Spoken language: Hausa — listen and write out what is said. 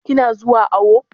Ki na zuwa awo?